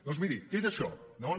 doncs miri què és això no no